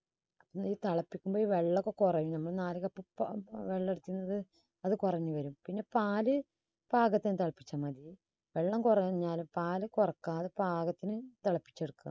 തിളപ്പിക്കുമ്പോൾ വെള്ളം ഒക്കെ കുറഞ്ഞെന്നും അത് കുറഞ്ഞ് വരും പിന്നെ പാല് പാകത്തിന് തിളപ്പിച്ച മതി വെള്ളം കുറവും എന്നാല് പാല് കുറയ്ക്കാതെ പാകത്തിന് തിളപ്പിച്ചെടുക്കുക.